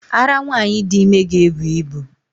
Ara nwanyị dị ime ga-ebu ibu